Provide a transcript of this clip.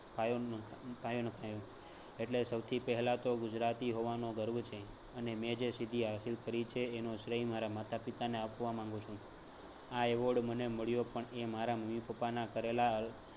પાયો ન પાયો નંખાયો એટલે સૌથી પહેલા તો ગુજરાતી હોવાનો ગર્વ છે અને મેં જે સિદ્ધિ હાસિલ કરી છે એનો શ્રેય મારા માતા પિતાને આપવા માગું છું. આ award મને મળ્યો પણ એ મારા મમ્મી પપ્પા ના કરેલા